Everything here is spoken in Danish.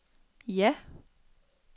ja